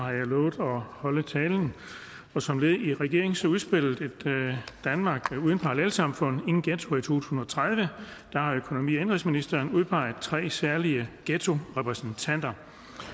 har jeg lovet at holde talen som led i regeringens udspil ét danmark uden parallelsamfund ingen ghettoer i to tusind og tredive har økonomi og indenrigsministeren udpeget tre særlige ghettorepræsentanter